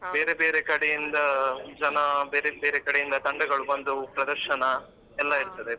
ಬೇರೆ ಬೇರೆ ಕಡೆಯಿಂದ ಜನ ಬೇರೆ ಬೇರೆ ಕಡೆಯಿಂದ ತಂಡಗಳು ಬಂದು ಪ್ರದರ್ಶನ ಎಲ್ಲ ಇರ್ತದೆ.